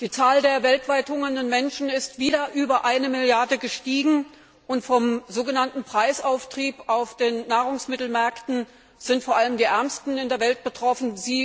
Die Zahl der weltweit hungernden Menschen ist wieder auf über eine Milliarde angestiegen, und vom sogenannten Preisauftrieb auf den Nahrungsmittelmärkten sind vor allem die Ärmsten in der Welt betroffen.